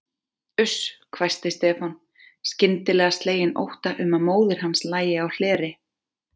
Uss hvæsti Stefán, skyndilega sleginn ótta um að móðir hans lægi á hleri.